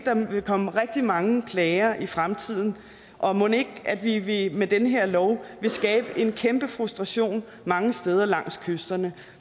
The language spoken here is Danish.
vil komme rigtig mange klager i fremtiden og mon ikke vi vi med den her lov vil skabe en kæmpe frustration mange steder langs kysterne